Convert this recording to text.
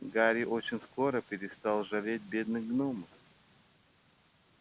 гарри очень скоро перестал жалеть бедных гномов